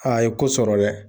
Aa ye ko sɔrɔ dɛ.